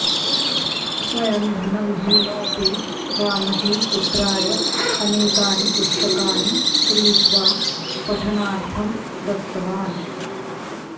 स्वयं धनविहीनोऽपि रामजी पुत्राय अनेकानि पुस्तकानि क्रीत्वा पठनार्थ दत्तवान्